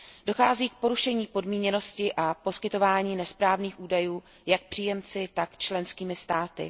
Dochází k porušení podmíněnosti a poskytování nesprávných údajů jak příjemci, tak členskými státy.